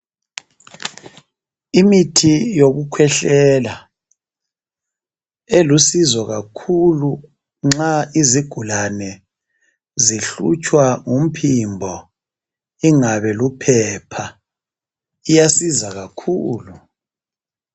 Imithi yokukhwehlela elosizo kakhulu nxa izigulane zihlutshwa ngumphimbo ingabe luphepha iyasiza kakhulu